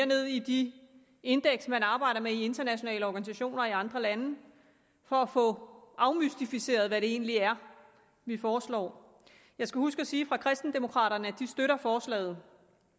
ned i de indeks man arbejder med i internationale organisationer og i andre lande for at få afmystificeret hvad det egentlig er vi foreslår jeg skal huske at sige fra kristendemokraterne at de støtter forslaget